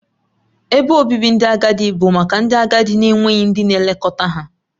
Ebe obibi ndị agadi bụ maka ndị agadi na-enweghị ndị na-elekọta ha